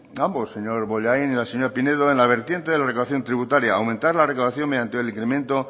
ambos señor bollain y señora pinedo en la vertiente de la recaudación tributaria aumentar la recaudación mediante el incremento